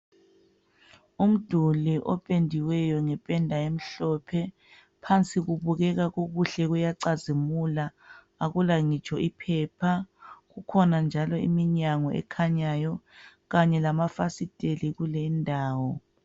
Umduli opendiweyo ngependa emhlophe. Phansi kubukeka kukuhle, kuyacazimula, akula ngitsho iphepha. Kukhona njalo iminyango ekhanyayo kanye lamafasiteli kule indawo.